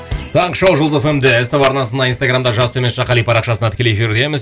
таңғы шоу жұлдыз эф эм де ств арнасында инстаграмда жас төмен сызықша қали парақшасында тікелей эфирдеміз